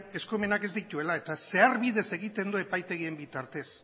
eskumenak ez dituela eta zeharbidez egiten du epaitegien bitartez